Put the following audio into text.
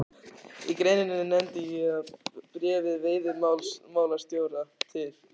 Í greininni nefndi ég að í bréfi veiðimálastjóra til